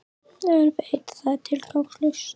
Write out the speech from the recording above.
En veit að það er tilgangslaust.